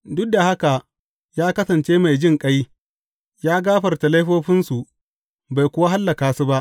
Duk da haka ya kasance mai jinƙai; ya gafarta laifofinsu bai kuwa hallaka su ba.